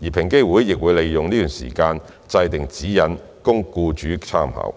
而平機會亦會利用這段時間制訂指引供僱主參考。